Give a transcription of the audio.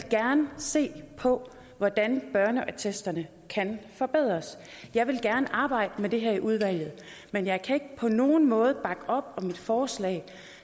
se på hvordan børneattesterne kan forbedres jeg vil gerne arbejde med det her i udvalget men jeg kan ikke på nogen måde bakke op om et forslag